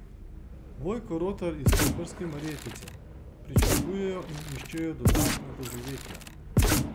Vojko Rotar iz koprske Marjetice: "Pričakujejo in iščejo dodatna doživetja.